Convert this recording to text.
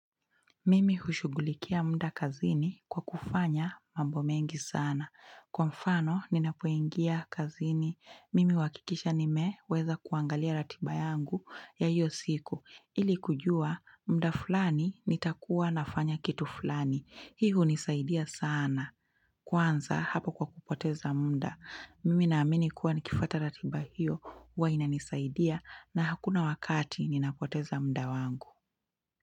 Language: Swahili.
Mimi hushughulikia mda kazini kwa kufanya mambo mengi sana. Kwa mfano, ninapoingia kazini. Mimi huhakikisha nimeweza kuangalia ratiba yangu ya hiyo siku. Ili kujua, muda fulani nitakuwa nafanya kitu fulani. Hii hunisaidia sana. Kwanza hapo kwa kupoteza mda. Mimi na amini kuwa nikifuata ratiba hiyo huwa inanisaidia na hakuna wakati inapoteza muda wangu.